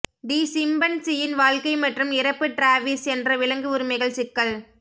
தி சிம்பன்சியின் வாழ்க்கை மற்றும் இறப்பு டிராவிஸ் என்ற விலங்கு உரிமைகள் சிக்கல்